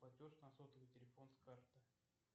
платеж на сотовый телефон с карты